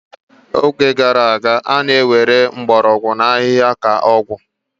N'oge gara aga, a na-ewere mgbọrọgwụ na ahịhịa ka ọgwụ.